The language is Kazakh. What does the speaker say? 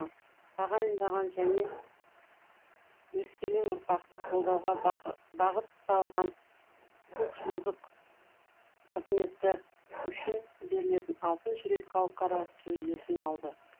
тағайындаған және өскелең ұрпақты қолдауға бағытталған көпжылдық қызметі үшін берілетін алтын жүрек халықаралық жүлдесін алды